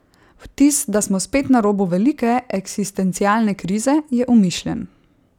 Vtis, da smo spet na robu velike, eksistencialne krize, je umišljen.